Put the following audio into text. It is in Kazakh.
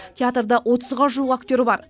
театрда отызға жуық актер бар